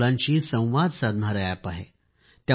लहान मुलांशी संवाद साधणारे अॅप आहे